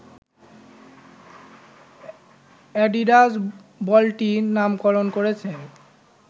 Adidas বলটির নামকরন করেছে